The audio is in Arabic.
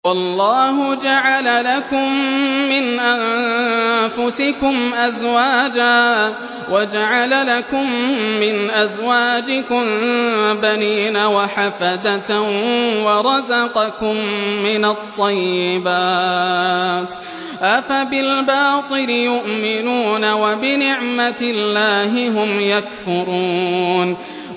وَاللَّهُ جَعَلَ لَكُم مِّنْ أَنفُسِكُمْ أَزْوَاجًا وَجَعَلَ لَكُم مِّنْ أَزْوَاجِكُم بَنِينَ وَحَفَدَةً وَرَزَقَكُم مِّنَ الطَّيِّبَاتِ ۚ أَفَبِالْبَاطِلِ يُؤْمِنُونَ وَبِنِعْمَتِ اللَّهِ هُمْ يَكْفُرُونَ